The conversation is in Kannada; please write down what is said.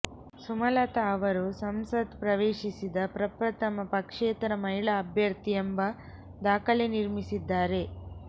ಸುಮಲತಾ ಅವರು ಸಂಸತ್ ಪ್ರವೇಶಿ ಸಿದ ಪ್ರಪ್ರಥಮ ಪಕ್ಷೇತರ ಮಹಿಳಾ ಅಭ್ಯರ್ಥಿ ಎಂಬ ದಾಖಲೆ ನಿರ್ಮಿಸಿದ್ದಾರೆ